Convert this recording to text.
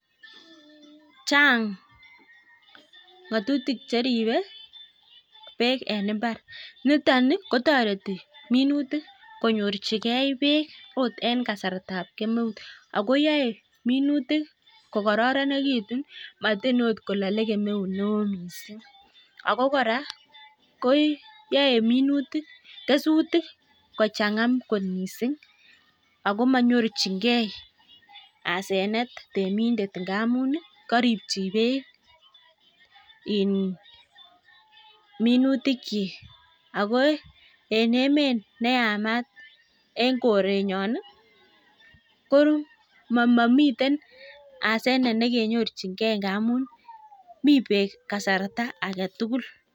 Chang ng'atutik che ribei beek en mbar. Niton kotoreti minutik konyorchigei beek akot eng kasartab kemeut. Ako yaei munutik kokororonekitu matin okiot kolalei kemeut neo mising. Ako kora koyoei kesutik kochanga kot mising ako manyorchigei asenet temindet ndamun karipchin beek minutikchi. Ako en emet ne yamat en korenyon ko mamiteten asenet nekenyorchingei ngamun mii beek kasrta age tugul.